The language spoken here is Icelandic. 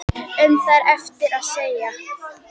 Um það er erfitt að segja.